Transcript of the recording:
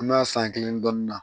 An b'a san kelen dɔɔnin na